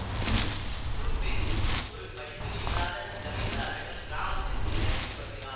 ஒரு பெண் ஒரு படிப்பறிவில்லாத ஜமீன்தாரிடம் கிராமத்திற்கு வேலைக்கு வருகிறாள்